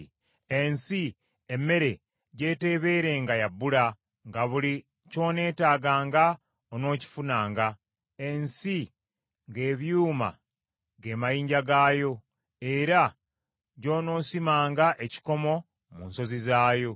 ensi, emmere gy’eteebeerenga ya bbula, nga buli ky’oneetaaganga onookifunanga; ensi, ng’ebyuma ge mayinja gaayo, era gy’onoosimanga ekikomo mu nsozi zaayo.